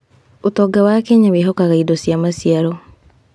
ũtonga wa Kenya wehokaga indo cia maciaro.